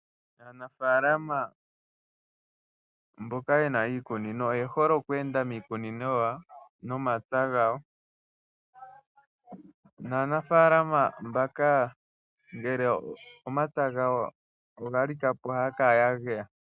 Aanafalama mboka ye na iikunino oye hole okweenda miikunino yawo nomapya gawo naanafalama mbaka ngele omapya gawo ga likapo ohaya kala ya geya.